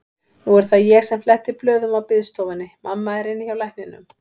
Nú er það ég sem fletti blöðum á biðstofunni, mamma er inni hjá lækninum.